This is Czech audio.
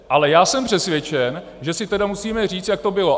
Ale já jsem přesvědčen, že si tedy musíme říci, jak to bylo.